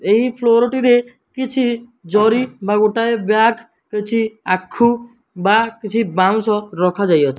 ଏହି ଫ୍ଲୋର ଟିରେ କିଛି ଜରି ବା ଗୋଟିଏ ବ୍ୟଗ ଅଛି ଆଖୁ ବା କିଛି ବାଉଁଶ ରଖାଯାଇଅଛି।